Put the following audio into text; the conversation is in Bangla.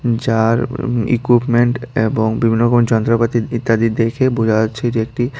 যার উ ইকুপমেন্ট এবং বিভিন্ন রকম যন্ত্রপাতি ইত্যাদি দেখে বোঝা যাচ্ছে যে একটি--